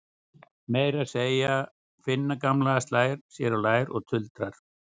Meira að segja Finna gamla slær sér á lær og tuldrar